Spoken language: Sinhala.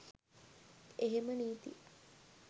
එහෙම නීති